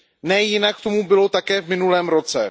Nejinak tomu bylo také v minulém roce.